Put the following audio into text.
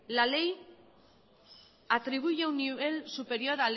la ley atribuye un nivel superior